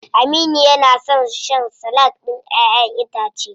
Aminu na son shan salak ɗin ƴaʼƴen itace.